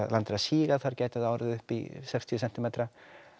land er að síga þar gæti það orðið upp í sextíu sentímetra